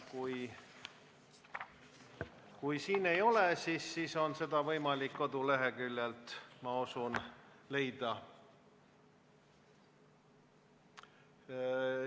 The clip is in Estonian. Kui siin ei ole, siis on seda võimalik koduleheküljelt, ma usun, leida.